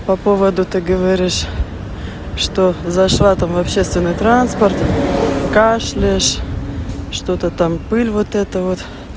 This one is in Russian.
по поводу ты говоришь что зашла там в общественный транспорт кашляешь что-то там пыль вот это вот